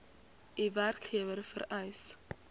u werkgewer vereis